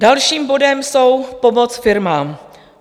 Dalším bodem je pomoc firmám.